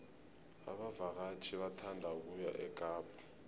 abavakatjhi bathanda ukuya ekapa